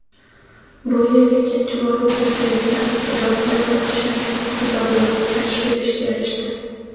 Bu yil ikkinchi bor o‘tkazilayotgan "Iqtidor" loyihasi chinakam iqtidorlarni kashf etishga erishdi.